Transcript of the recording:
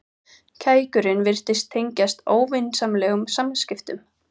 Kækurinn virtist tengjast óvinsamlegum samskiptum.